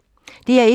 DR1